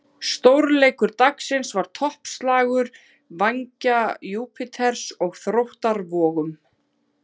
Stórleikur dagsins var toppslagur Vængja Júpíters og Þróttar Vogum.